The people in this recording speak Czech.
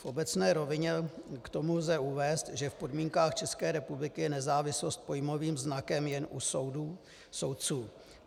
V obecné rovině k tomu lze uvést, že v podmínkách České republiky je nezávislost pojmovým znakem jen u soudů, soudců.